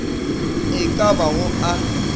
e ka ba go a